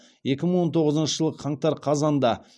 екі мың он тоғызыншы жылы қаңтар қазанда